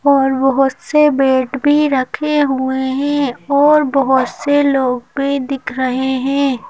और बहोत से बेड भी रखे हुए हैं और बहोत से लोग भी दिख रहे हैं।